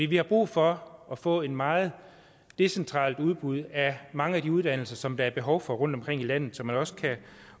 vi har brug for at få et meget decentralt udbud af mange af de uddannelser som der er behov for rundtomkring i landet så man også kan